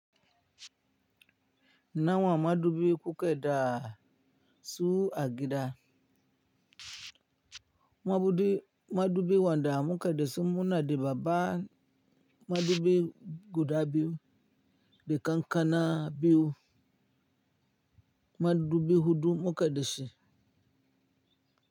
Nawa madubi kukeda su agida, madubi wanda muke dashi muna da babba madubi guda biyu, da ƙan-ƙana biyu, madubi hudu muke dashi.